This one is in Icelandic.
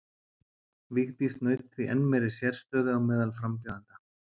Vigdís naut því enn meiri sérstöðu á meðal frambjóðenda.